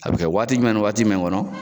A be kɛ waati jumɛn ni waati jumɛn kɔnɔ?